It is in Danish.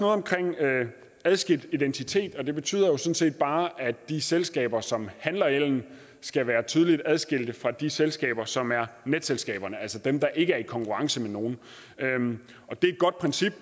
omkring adskilt identitet og det betyder sådan set bare at de selskaber som handler ellen skal være tydeligt adskilt fra de selskaber som er netselskaberne altså dem der ikke er i konkurrence med nogen det er et godt princip